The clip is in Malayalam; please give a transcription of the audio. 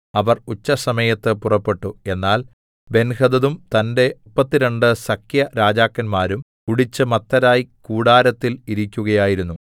അവർ ഉച്ചസമയത്ത് പുറപ്പെട്ടു എന്നാൽ ബെൻഹദദും തന്റെ മുപ്പത്തിരണ്ട് സഖ്യരാജാക്കന്മാരും കുടിച്ച് മത്തരായി കൂടാരത്തിൽ ഇരിക്കുകയായിരുന്നു